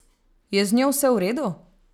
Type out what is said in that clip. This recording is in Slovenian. Je z njo vse v redu?